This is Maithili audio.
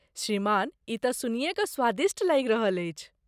श्रीमान, ई त सुनिए क स्वादिष्ट लागि रहल अछि।